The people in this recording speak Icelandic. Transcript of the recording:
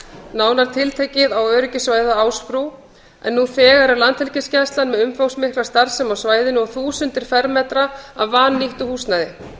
nánar tiltekið á öryggissvæðið á ásbrú en nú þegar er landhelgisgæslan með umfangsmikla starfsemi á svæðinu og þúsundir fermetra af vannýttu húsnæði